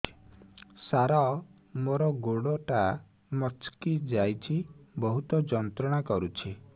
ସାର ମୋର ଗୋଡ ଟା ମଛକି ଯାଇଛି ବହୁତ ଯନ୍ତ୍ରଣା କରୁଛି